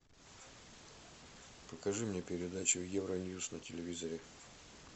покажи мне передачу евроньюс на телевизоре